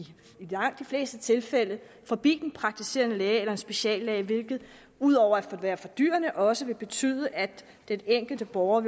langt de fleste tilfælde forbi den praktiserende læge eller speciallæge hvilket ud over at være fordyrende også har betydet at den enkelte borger